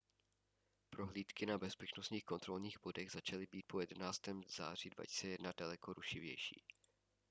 prohlídky na bezpečnostních kontrolních bodech začaly být po 11. září 2001 daleko rušivější